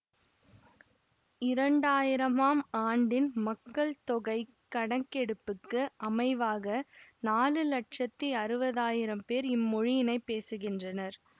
இரண்டாயிரமாம் ஆண்டின் மக்கள்தொகைக் கணக்கெடுப்புக்கு அமைவாக நாலு லட்சத்தி அறுவதாயிரம் பேர் இம்மொழியினைப் பேசுகின்றனர்